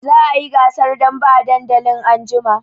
Za a yi gasar dambe a dandali anjima.